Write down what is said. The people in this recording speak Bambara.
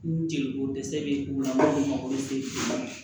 Ni jeliko dɛsɛ bɛ o la makoroje